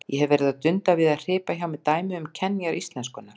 Ég hef verið að dunda við að hripa hjá mér dæmi um kenjar íslenskunnar.